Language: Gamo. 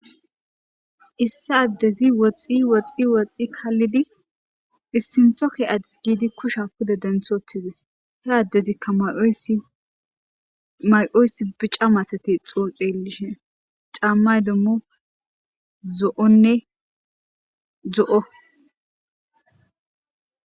issi addezi woxxi woxxi woxxi kallidi issintho ke adis giidi kusha kude denthoothidis he addezikka yysmay7oysi biccamasati xooxelishen caammay demmo zo7onne zo7o